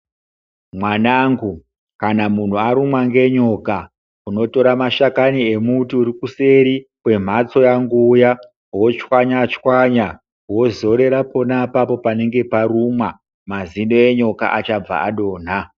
Mwanangu kana muntu arumwa ngenyoka unotora mashakani emuti uri kuseri kwemhatso yangu iya wotswanya tswanya wozorera apapo panenge parumwa mazino enyoka achabva adonha.